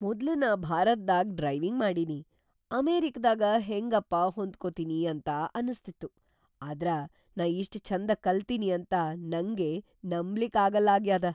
ಮೊದ್ಲ್‌ ನಾ ಭಾರತ್ದಾಗ್ ಡ್ರೈವಿಂಗ್‌ ಮಾಡಿನಿ ಅಮೆರಿಕಾದಾಗ ಹೆಂಗಪಾ ಹೊಂದ್ಕೋತಿನಿ ಅಂತ ಅನಸ್ತಿತ್ತು, ಆದ್ರ ನಾ ಇಷ್ಟ್‌ ಛಂದ ಕಲ್ತಿನಿ ಅಂತ ನಂಗೇ ನಂಬ್ಲಿಕ್ಕಾಗಲ್ಲಾಗ್ಯಾದ!